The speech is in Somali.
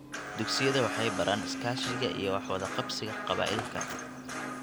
Dugsiyada waxay baraan iskaashiga iyo wax wada qabsiga qabaa'ilka.